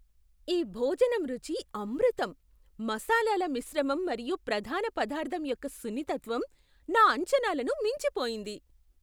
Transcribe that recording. ఈ భోజనం రుచి అమృతం! మసాలాల మిశ్రమం మరియు ప్రధాన పదార్ధం యొక్క సున్నితత్వం నా అంచనాలను మించిపోయింది.